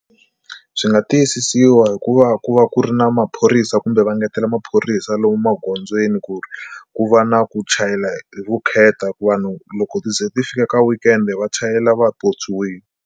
Byi nga tiyisisiwa hi ku va ku va ku ri na maphorisa kumbe va ngetela maphorisa lomu magondzweni ku ri ku va na ku chayela hi vukheta ku vanhu loko ti ze ti fika ka weekend va chayela va pyopyiwile.